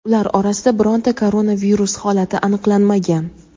Ular orasida bironta koronavirus holati aniqlanmagan.